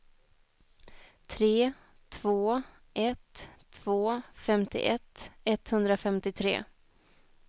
tre två ett två femtioett etthundrafemtiotre